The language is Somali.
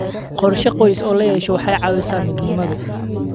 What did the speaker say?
Qorshe qoys oo la yeesho waxay caawisaa midnimada.